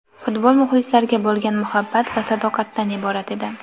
Futbol muxlislarga bo‘lgan muhabbat va sadoqatdan iborat edi.